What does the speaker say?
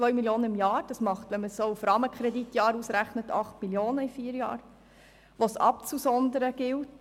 2 Mio. Franken im Jahr sind 8 Mio. Franken in vier Jahren, die es abzusondern gilt.